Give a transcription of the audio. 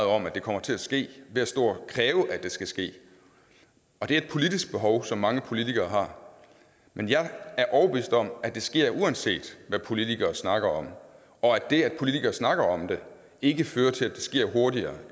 om at det kommer til at ske ved at stå og kræve at det skal ske og det er et politisk behov som mange politikere har men jeg er overbevist om at det sker uanset hvad politikere snakker om og at det at politikere snakker om det ikke fører til at det sker hurtigere